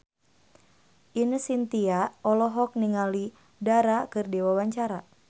Ine Shintya olohok ningali Dara keur diwawancara